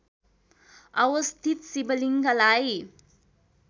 अवस्थित शिवलिङ्गलाई